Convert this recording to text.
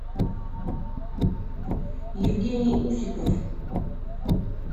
евгений усиков